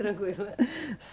Tranquilo.